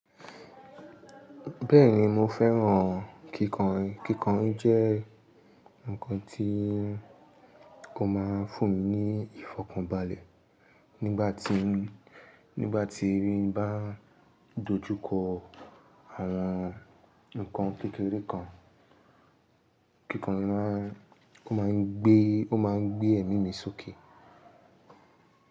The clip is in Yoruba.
Bẹ́ẹ̀ni mo fẹ́ràn kíkàn. Kíkàn jẹ́ nǹkan tí ko máa n fún mi ní ìfọ̀kànbalẹ̀ nígbà tí, nígbà tí n bá dojú kọ ara nǹkan kékeré kan. Kíkàn máa, ó máa ń gbé, ó máa ń gbé ẹ̀mí mi sókè.